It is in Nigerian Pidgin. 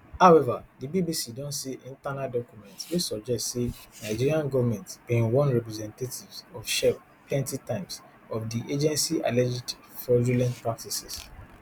however di bbc don see internal documents wey suggest say nigerian goment bin warn representatives of shell plenty times of di agency alleged fraudulent practices